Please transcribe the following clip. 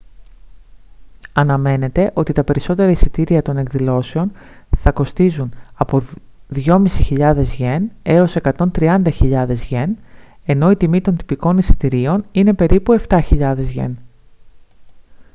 αναμένεται ότι τα περισσότερα εισιτήρια των εκδηλώσεων θα κοστίζουν από 2.500 γιεν έως 130.000 γιεν ενώ η τιμή των τυπικών εισιτηρίων είναι περίπου 7.000 γιεν